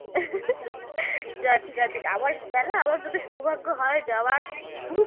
ঠিকাছে আবার গেলে আবার যদি সৌভাগ্য হয় যাবার হম